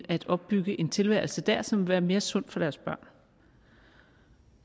at opbygge en tilværelse der som vil være mere sund for deres børn